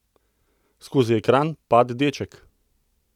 Skozi ekran pade deček!